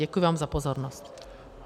Děkuji vám za pozornost.